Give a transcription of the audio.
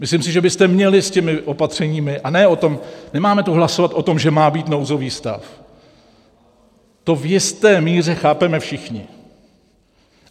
Myslím si, že byste měli s těmi opatřeními - a nemáme tu hlasovat o tom, že má být nouzový stav, to v jisté míře chápeme všichni.